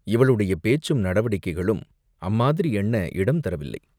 இவளுடைய பேச்சும் நடவடிக்கைகளும் அம்மாதிரி எண்ண இடம் தரவில்லை.